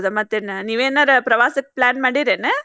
ಮತ್ತ್ ಏನ್ ನೀವೆನಾರೇ ಪ್ರವಾಸಕ್ plan ಮಾಡಿರೇನ?